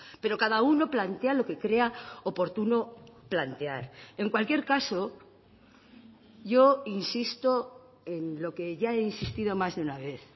pero cada uno plantea lo que crea oportuno plantear en cualquier caso yo insisto en lo que ya he insistido más de una vez